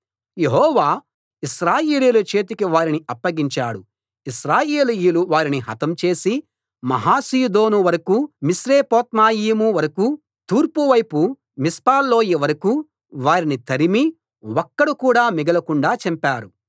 యెహోవా ఇశ్రాయేలీయుల చేతికి వారిని అప్పగించాడు ఇశ్రాయేలీయులు వారిని హతం చేసి మహా సీదోను వరకూ మిశ్రేపొత్మాయిము వరకూ తూర్పు వైపు మిస్పా లోయ వరకూ వారిని తరిమి ఒక్కడు కూడా మిగలకుండా చంపారు